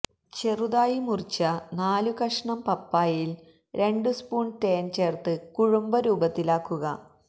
ചെറുതായി മുറിച്ച നാലുകഷ്ണം പപ്പായയില് രണ്ടുസ്പൂണ് തേന് ചേര്ത്ത് കുഴമ്പ് രൂപത്തിലാക്കുക